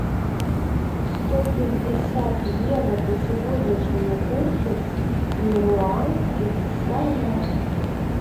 сто пятьдесят евро по сегодняшнему курсу в перуанских солях